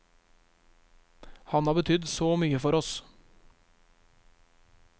Han har betydd så mye for oss.